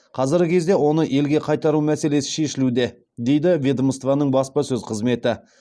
қазіргі кезде оны елге қайтару мәселесі шешілуде дейді ведомствоның баспасөз қызметі